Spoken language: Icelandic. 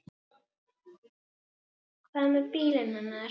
Hvað með bílinn hennar?